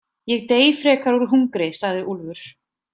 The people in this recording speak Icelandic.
Ég dey frekar úr hungri, sagði Úlfur.